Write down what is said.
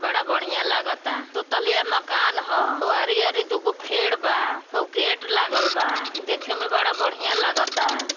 बड़ा बढ़ियां लागता दू तलिया मकान ह हउ आरी-आरी दुगो फेड बा हउ गेट लागल बा देखे में बड़ा बढ़ियां लागता।